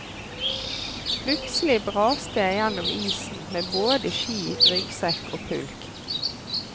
Plutselig braste jeg gjennom isen med både ski, ryggsekk og pulk.